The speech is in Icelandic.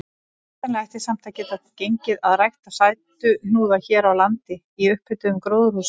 Hugsanlega ætti samt að geta gengið að rækta sætuhnúða hér á landi í upphituðum gróðurhúsum.